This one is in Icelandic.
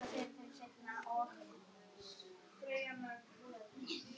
Kaupið er lágt en mórallinn góður, svarar hún.